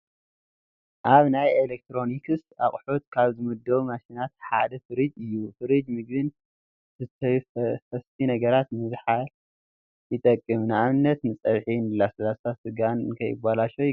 ኣብ ናይ ኤሌክትሮኒክስ ኣቕሑት ካብ ዝምደቡ ማሽናት ሓደ ፊሪጅ እዩ፡፡ ፊሪጅ ምግቢን ዝስተዩ ፈሰስቲ ነገራት ንምዝሓል ይጠቅም፡፡ ንኣብነት ንፀብሒ፣ ንለስላሳን ስጋን ንኸይበላሾ ይገብር፡፡